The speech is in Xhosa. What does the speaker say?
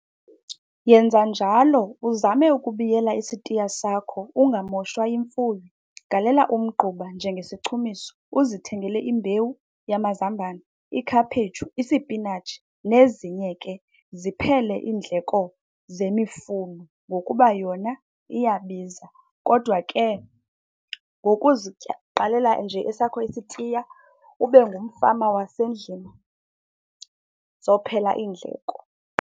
Yenza njalo uzame ukubiyela isitiya sakho ungamoshwa yimfuyo. Galela umgquba njengesichumiso, uzithengele imbewu yamazambane, ikhaphetshu, isipinatshi nezinye ke. Ziphele iindleko zemifuno ngokuba yona iyabiza, kodwa ke qalela nje esakho isitiya ube ngumfama wasendlini zophela iindleko.